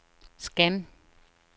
scan